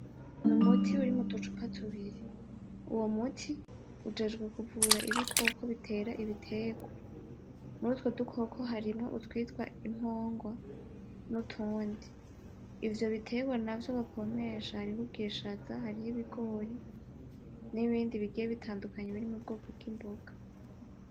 N,umuti uri muducupa tubiri uwo muti ujejwe kuvura ibikoko bitera ibiterwa muri utwo dukoko harimwo utwitwa inkongwa nutundi , ivyo biterwa navyo bapompesha harimwo ubwishaza hariho ibigori n'ibindi bigiye bitandukanye biri mubwoko bw'imboga .